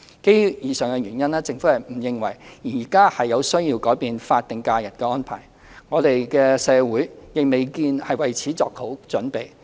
基於以上原因，政府不認為現時有需要改變法定假日的安排，我們的社會亦未見已為此作好準備。